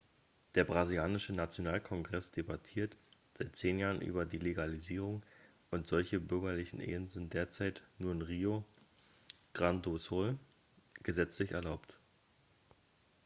der brasilianische nationalkongress debattiert seit 10 jahren über die legalisierung und solche bürgerlichen ehen sind derzeit nur in rio grande do sul gesetzlich erlaubt